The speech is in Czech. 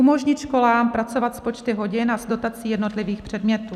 Umožnit školám pracovat s počty hodin a s dotací jednotlivých předmětů.